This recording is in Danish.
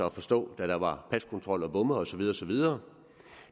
at forstå at der var paskontrol og bomme og så videre og så videre